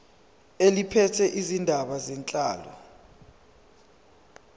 eliphethe izindaba zenhlalo